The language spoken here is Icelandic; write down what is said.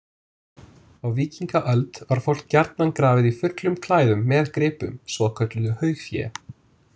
Á víkingaöld var fólk gjarnan grafið í fullum klæðum með gripum, svokölluðu haugfé.